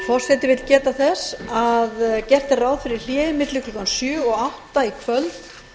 forseti vill geta þess að gert er ráð fyrir hléi vegna sjö og átta í kvöld